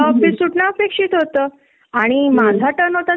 खुप्पच अम्ही हा प्रॉब्लेम सगळी कडेच आहे